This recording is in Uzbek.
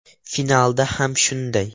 Finalda ham shunday.